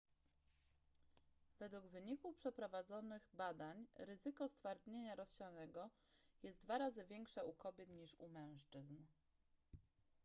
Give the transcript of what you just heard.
według wyników przeprowadzonych badań ryzyko stwardnienia rozsianego jest dwa razy większe u kobiet niż u mężczyzn